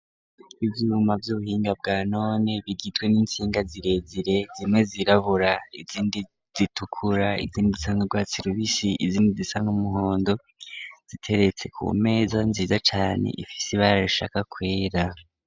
Ivyuma vy'ubuhinga bwanone bigizwe n'intsinga zirezire, zimwe zirabura, izindi zitukura, izindi zisa n'urwatsi rubisi, izindi zisa n'umuhondo, ziteretse ku meza nziza cane ifise ibara rishaka kwera.